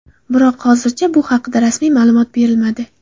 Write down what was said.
Biroq hozircha bu haqda rasmiy ma’lumot berilmadi.